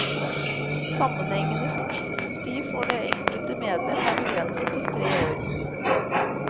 Sammenhengende funksjonstid for det enkelte medlem er begrenset til tre år.